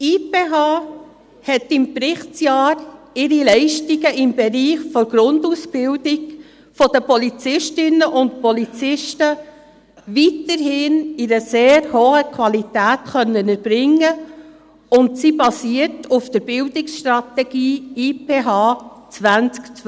Die IPH konnte im Berichtsjahr ihre Leistungen im Bereich der Grundausbildung der Polizistinnen und Polizisten weiterhin in einer sehr hohen Qualität erbringen, und sie basiert auf der Bildungsstrategie «IPH 2012».